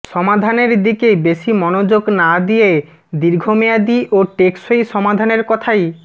সমাধানের দিকে বেশি মনোযোগ না দিয়ে দীর্ঘমেয়াদি ও টেকসই সমাধানের কথাই